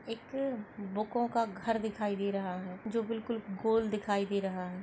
एक बुकों का घर दिखाई दे रहा है जो बिल्कुल गोल दिखाई दे रहा है।